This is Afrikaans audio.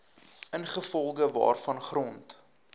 ingevolge waarvan grond